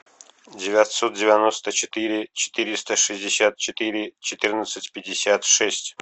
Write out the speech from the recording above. девятьсот девяносто четыре четыреста шестьдесят четыре четырнадцать пятьдесят шесть